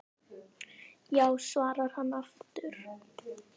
Já svarar hann aftur.